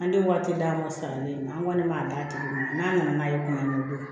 An tɛ waati d'a ma salen na an kɔni b'a d'a tigi ma n'a nana n'a ye kuma dɔ